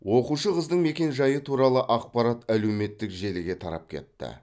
оқушы қыздың мекенжайы туралы ақпарат әлеуметтік желіге тарап кетті